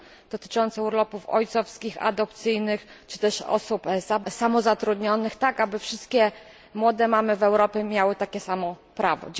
dotyczące urlopów ojcowskich, adopcyjnych czy też osób samozatrudnionych tak, aby wszystkie młode mamy w Europie miały takie same prawo.